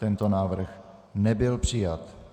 Tento návrh nebyl přijat.